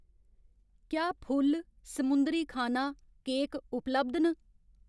क्या फुल्ल, समुंदरी खाना, केक उपलब्ध न ?